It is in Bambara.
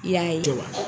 I y'a ye wa